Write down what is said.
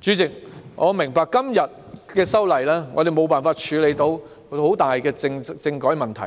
主席，我明白今次修例無法處理政改問題，